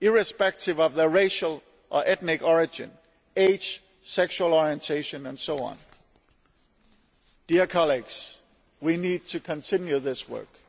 irrespective of their racial or ethnic origin, age, sexual orientation and so on. We need to continue this work.